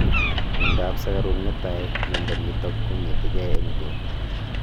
mianda ap sugaruk netai mianda nitok kogetingei eng porta